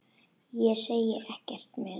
Ég segi ekkert meira.